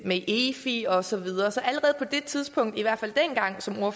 med efi og så videre så allerede på det tidspunkt